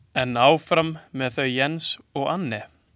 En áfram með þau Jens og Anne.